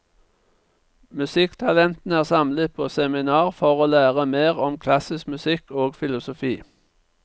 Musikktalentene er samlet på seminar for å lære mer om klassisk musikk og filosofi.